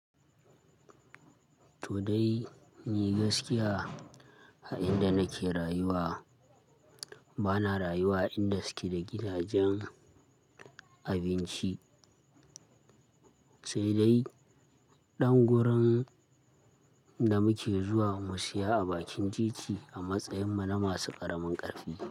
To dai, ni gaskiya a inda nake rayuwa bana rayuwa inda suke da gidajen abinci, sai dai ɗan gurin da muke zuwa mu siya a bakin titi a matsayinmu na masu ƙaramin ƙarfi.